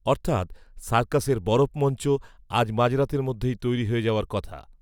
অর্থাত্, সার্কাসের বরফমঞ্চ, আজ মাঝরাতের মধ্যেই তৈরি হয়ে যাওয়ার কথা